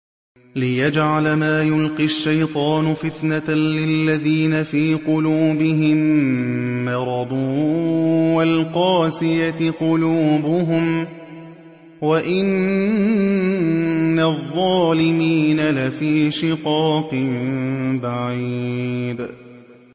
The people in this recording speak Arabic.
لِّيَجْعَلَ مَا يُلْقِي الشَّيْطَانُ فِتْنَةً لِّلَّذِينَ فِي قُلُوبِهِم مَّرَضٌ وَالْقَاسِيَةِ قُلُوبُهُمْ ۗ وَإِنَّ الظَّالِمِينَ لَفِي شِقَاقٍ بَعِيدٍ